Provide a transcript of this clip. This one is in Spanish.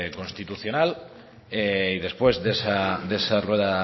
constitucional y después de esa rueda